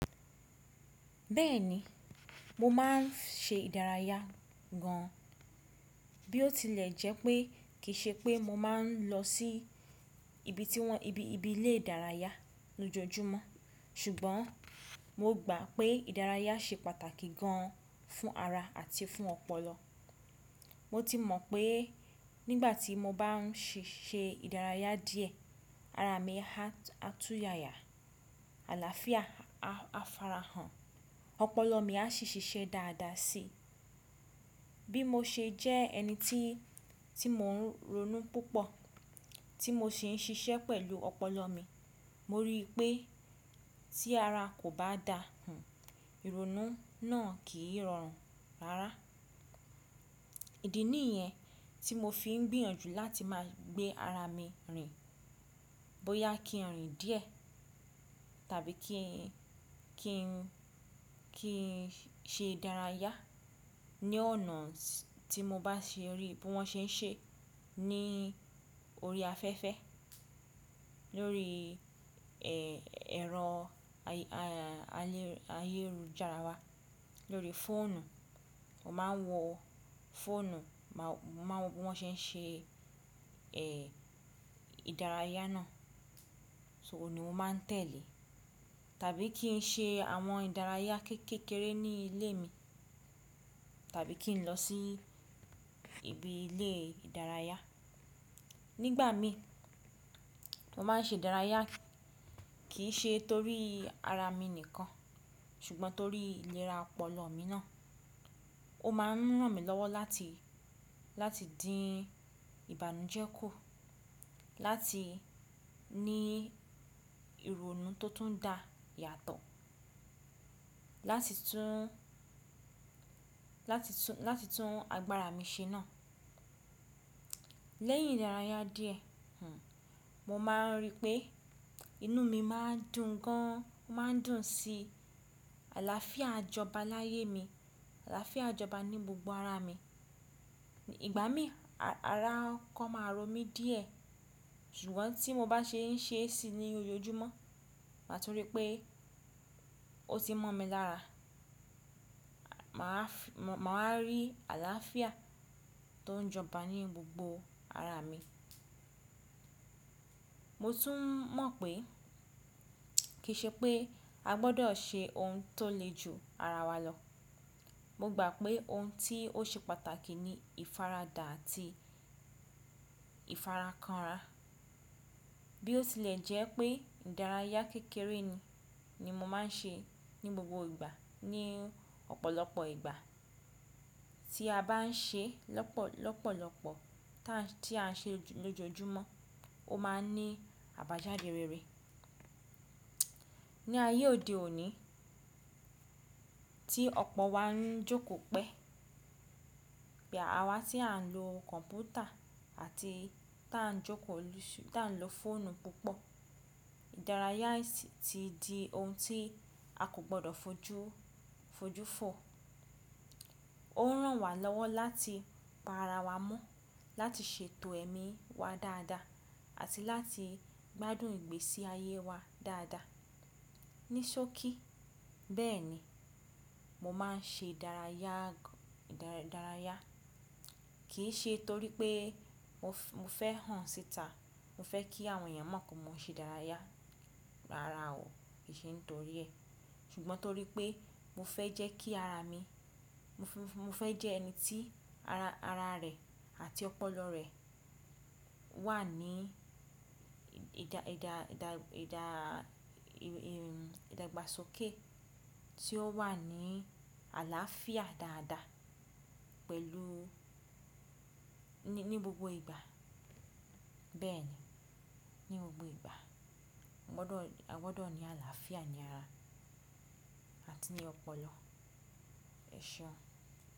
Bẹ́ẹ̀ni, mo máà ń ṣe ìdárayá gan an. Bí ó tilẹ̀ jẹ́ pé kì í ṣe pé mo máa ń lọ sí ibi tí wọ́n, ibi, ibi ilé ìdárayá lójoojúmọ́. Ṣùgbọ́n mo gbà pé ìdárayá ṣe pàtàkì gan an fún ara àti fún ọpọlọ. Mo ti mọ̀ pé nígbà tí mo bá ń ṣì ṣe ìdárayá díẹ̀, ara mi ha, há tú yayà, àlàáfíà a farahàn, ọpọlọ mi a sì ṣiṣẹ́ dáadáa síi. Bí mo ṣe jẹ́ ẹni tí, tí mò ń ronú púpọ̀, tí mo sì ń ṣiṣẹ́ pẹ̀lú ọpọlọ mi, mo rí i pé tí ara kò bá dá hun, ìrònú náà kì í rọrùn rárá. Ìdí nìyẹn tí mo fi ń gbìyànjú láti máa gbé ara mi rìn. Bóyá kí n rìn díẹ̀ tàbí kí n, kí n, kí n ṣe ìdárayá ní ọ̀nà tí mo bá ṣe rí bí wọ́n ṣe ń ṣe ní orí afẹ́fẹ́, lórí, ẹ, ẹ̀rọ ayé, ayé, ayélujára wa, lórí fóònù. O máa ń wọ fóònù, máa wọ bí wọ́n ṣe ń ṣe, ẹ, ìdárayá náà. So òun ni o máa ń tẹ̀lé. Tàbí kí n ṣe àwọn ìdárayá kéékèèké ní ilé mi tàbí kí n lọ sí ibi ilé ìdárayá. Nígbà mi, mo máa ń ṣe ìdárayá kì í ṣe torí ara mi nìkan ṣùgbọ́n torí ìlera ọpọlọ mi náà. Ó máa ń ràn mí lọ́wọ́ láti, láti dín ìbànújẹ́ kù, láti ní ìrònú tó tún dá yàtọ̀, láti tún, láti tún, láti tún agbára mi ṣe náà. Lẹ́yìn ìdárayá díẹ̀, hun, mo máa ń rí i pé inú mi máa ń dùn gan an, ó máa ń dùn sí àlàáfíà joba láyé mi, àlàáfíà joba ní gbogbo ara mi. Ìgbà mí ara kọ́kọ́ máa rọ mí díẹ̀ ṣùgbọ́n tí mo bá ṣe ń ṣe é si ní ojoojúmọ́, maa tún rí pé ó ti mọ̀ mi lára, mà á rí àlàáfíà tó ń jọba ní gbogbo ara mi. Mo tún mọ̀ pé kì í ṣe pé a gbọdọ̀ ṣe ohun tó le ju ara wa lọ. Mo gbà pé ohun tí ó ṣe pàtàkì ni ìfaradà àti ìfarakànrà. Bí ó tilẹ̀ jẹ́ pé ìdárayá kékeré ni, ni mo máa ń ṣe ní gbogbo ìgbà ní ọ̀pọ̀lọpọ̀ ìgbà tí a bá ń ṣe lọ́pọ̀, lọ́pọ̀lọpọ̀ tá, tí a ń ṣe lójoojúmọ́, ó máa ń ní àbájáde rere. Ní ayé òde òní tí ọ̀pọ̀ wa ń jókòó pẹ́, bí àwa tí à ń lo kọ̀ǹpútà àti tá ń jókòó, tá ń lo fóònù púpọ̀, ìdárayá ti di ohun tí a kò gbọdọ̀ fojú, fojú fò. Ó ń ràn wá lọ́wọ́ láti pa ara wa mọ́, láti ṣètò ẹ̀mí wa dáadáa àti láti gbádùn ìgbésí ayé wa dáadáa. Ní ṣókí, bẹ́ẹ̀ni, mo máa ń ṣe ìdárayá, ìdárayá. Kì í ṣe torí pé mo fẹ́ hàn síta, mo fẹ́ kí àwọn èèyàn mọ̀ pé mo ń ṣe ìdárayá. Rárá o, kì í ṣe nítorí ẹ̀. Ṣùgbọ́n torí pé mo fẹ́ jẹ́ kí ara mi, mo fẹ́ jẹ́ ẹni tí ara, ara rẹ̀ àti ọpọlọ rẹ̀ wà ní ìdá, ìdá, ìdá, ìdá, ì, ì, ìdàgbàsókè tí ó wà ní àlàáfíà dáadáa pẹ̀lú ní gbogbo ìgbà. Bẹ́ẹ̀ ni, ní gbogbo ìgbà. A gbọdọ̀, a gbọdọ̀ ní àlàáfíà ní ara àti ní ọpọlọ. Ẹ̀ṣọ́.